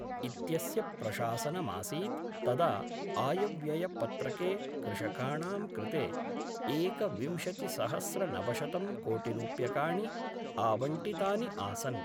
इत्यस्य प्रशासनमासीत् तदा आयव्ययपत्रके कृषकाणां कृते एकविंशतिसहस्रनवशतं कोटिरुप्यकाणि आवंटितानि आसन्।